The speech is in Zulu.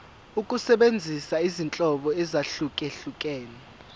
ukusebenzisa izinhlobo ezahlukehlukene